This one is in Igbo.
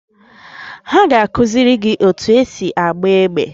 Ha ga-akụziri gị otú esi agba egbe?